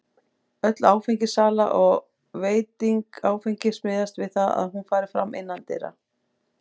Öll áfengissala og veiting áfengis miðast við það að hún fari fram innandyra.